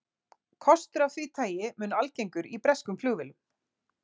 Kostur af því tagi mun algengur í breskum flugvélum.